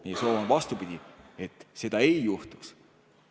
Meie soov on vastupidine, et seda ei juhtuks.